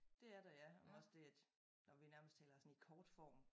Dét et der ja også det at når vi nærmest taler sådan i kort form